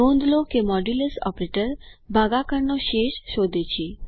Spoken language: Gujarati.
નોંધ લો કે મોડ્યૂલ્સ ઓપરેટર ભાગાકારનો શેષ શોધે છે